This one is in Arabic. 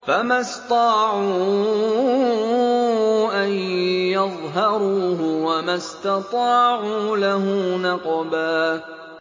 فَمَا اسْطَاعُوا أَن يَظْهَرُوهُ وَمَا اسْتَطَاعُوا لَهُ نَقْبًا